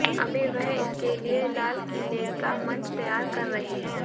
अभी वह इसके लिए लालकिले का मंच तैयार कर रहे हैं